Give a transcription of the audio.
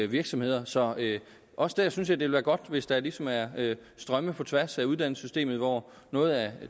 virksomheder så også der synes at vil være godt hvis der ligesom er strømme på tværs af uddannelsessystemet hvor noget af